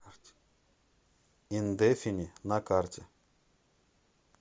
индефини на карте